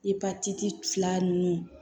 Ipatiti fila ninnu